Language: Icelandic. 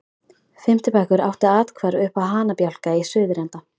Fimmti bekkur átti athvarf uppá hanabjálka í suðurenda